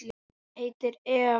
Hún heitir Eva.